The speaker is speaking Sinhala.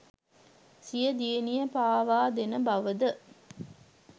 සිය දියණිය පාවාදෙන බව ද